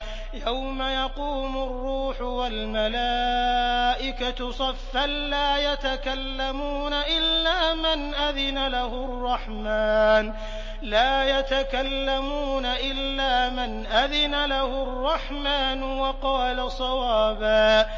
يَوْمَ يَقُومُ الرُّوحُ وَالْمَلَائِكَةُ صَفًّا ۖ لَّا يَتَكَلَّمُونَ إِلَّا مَنْ أَذِنَ لَهُ الرَّحْمَٰنُ وَقَالَ صَوَابًا